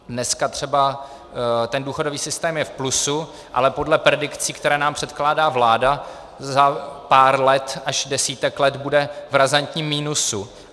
Dneska třeba ten důchodový systém je v plusu, ale podle predikcí, které nám předkládá vláda, za pár let až desítek let bude v razantním minusu.